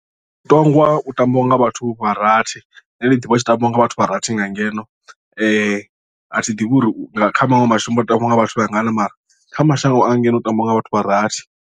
Mutongwa u tambiwa nga vhathu vha rathi nṋe ndi ḓivha utshi tambiwa nga vhathu vha rathi nga ngeno a thi ḓivhi uri kha maṅwe mashango u tambiwa nga vhathu vhangana mara kha mashango a ngeno u tambiwa nga vhathu vha rathi.